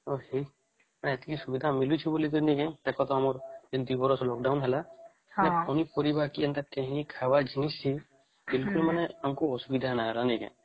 ହଁ କି ସେତିକି ସୁବିଧା ମିଳୁଛି ବୋଲି କି ନୁହଁ ଦେଖ ତମର ଦିବରସ lockdown ହେଲା ପନିପରିବା ଏମତି କେନ୍ତ ଖାଇବା ଜିନିଷ କି ବିଲ୍କିଲ ମାନେ ାଙ୍କୁ ଅସୁବିଧା ହେଲା